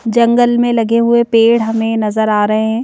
जंगल में लगे हुए पेड़ हमें नजर आ रहे हैं।